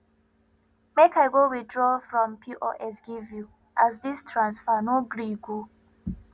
make i go withraw from pos give you as this transfer no gree go